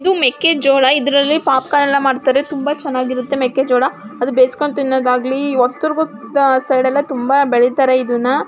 ಇದು ಮೆಕ್ಕೆ ಜೋಳ ಇದರಲ್ಲಿ ಪಾಪಕಾರ್ನ್ ಎಲ್ಲ ಮಾಡ್ತಾರೆ ತುಂಬಾ ಚೆನ್ನಾಗಿರುತ್ತೆ ಮೆಕ್ಕೆ ಜೋಳ ಅದು ಬೇಸ್ಕೊಂಡ್ ತಿನ್ನೋದಾಗ್ಲಿ ಒಸದುರ್ಗದ್ ಸೈಡ್ ಎಲ್ಲ ತುಂಬಾ ಬೆಳೀತಾರೆ ಇದುನ್ನ.